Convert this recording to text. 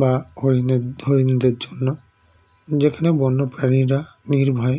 বা হরিণের হরিণদের জন্য যেখানে বন্যপ্রাণীরা নির্ভয়ে